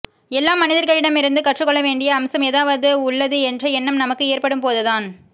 எல்லா மனிதர்களிடமிருந்தும் கற்றுக் கொள்ள வேண்டிய அம்சம் ஏதாவது உள்ளது என்ற எண்ணம் நமக்கு எற்படும்போதுதான்